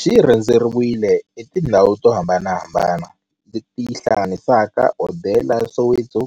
Xi rhendzeriwile hi tindhawu to hambanahambana le ti hlanganisaka, hodela ya Soweto,